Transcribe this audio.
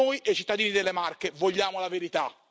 Noi e i cittadini delle Marche vogliamo la verità.